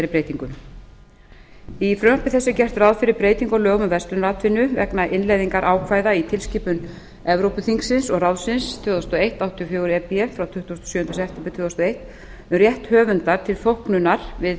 breytingum í frumvarpi þessu er gert ráð fyrir breytingu á lögum um verslunaratvinnu vegna innleiðingarákvæða í tilskipun evrópuþingsins og ráðsins tvö þúsund og eitt áttatíu og fjögur e b frá tuttugasta og sjöunda september tvö þúsund og eitt um rétt höfundar til þóknunar við